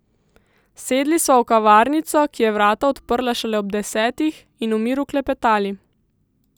Sedli sva v kavarnico, ki je vrata odprla šele ob desetih, in v miru klepetali.